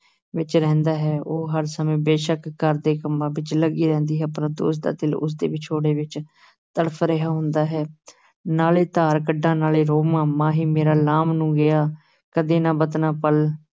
ਵਿਚ ਰਹਿੰਦਾ ਹੈ, ਉਹ ਹਰ ਸਮੇਂ ਬੇਸ਼ੱਕ ਘਰ ਦੇ ਕੰਮਾਂ ਵਿਚ ਲੱਗੀ ਰਹਿੰਦੀ ਹੈ, ਪਰੰਤੂ ਉਸ ਦਾ ਦਿਲ ਉਸ ਦੇ ਵਿਛੋੜੇ ਵਿਚ ਤੜਫ ਰਿਹਾ ਹੁੰਦਾ ਹੈ ਨਾਲੇ ਧਾਰ ਕੱਢਾਂ ਨਾਲੇ ਰੋਵਾਂ, ਮਾਹੀ ਮੇਰਾ ਲਾਮ ਨੂੰ ਗਿਆ, ਕਦੇ ਨਾ ਵਤਨਾਂ ਵਲ